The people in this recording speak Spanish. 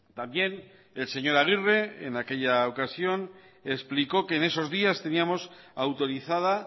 también el señor aguirre en aquella ocasión explicó que en eso días teníamos autorizada